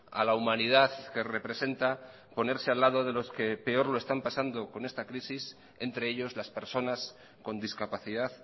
a la humanidad que representa ponerse al lado de los que peor lo están pasando con esta crisis entre ellos las personas con discapacidad